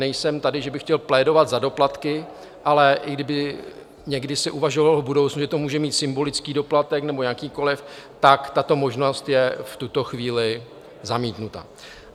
Nejsem tady, že bych chtěl plédovat za doplatky, ale i kdyby se někdy uvažovalo v budoucnu, že to může mít symbolický doplatek nebo jakýkoliv, tak tato možnost je v tuto chvíli zamítnuta.